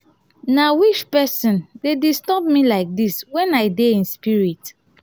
na which person dey disturb me like dis wen i dey in spirit.